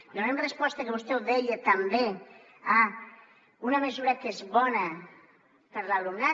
donem resposta que vostè ho deia també a una mesura que és bona per a l’alumnat